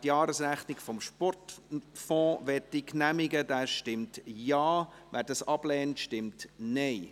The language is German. Wer die Jahresrechnung des Sportfonds genehmigen möchte, stimmt Ja, wer dies ablehnt, stimmt Nein.